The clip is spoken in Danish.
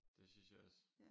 Det synes jeg også